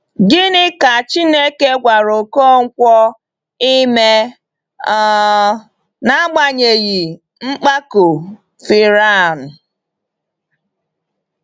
Gịnị ka Chineke gwara Ọkọnkwo ime um n’agbanyeghị mpako Firaun?